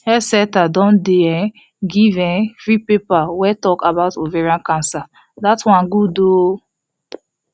health centre don dey um give um free paper wey talk about ovarian cancer that one good ooo